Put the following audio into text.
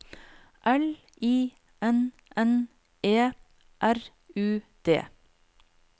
L I N N E R U D